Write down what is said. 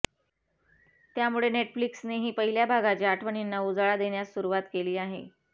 त्यामुळे नेटफ्लिक्सनेही पहिल्या भागाच्या आठवणींना उजाळा देण्यास सुरुवात केली आहे